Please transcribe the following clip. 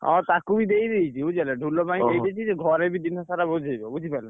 ହଁ ତାକୁ ବି ଦେଇ ଦେଇଛି ବୁଝି ପାଇଲ ଢୋଲ ପାଇଁ ଦେଇଦେଇଛି ଘରେ ବି ଦିନସାରା ବଜେଇବ।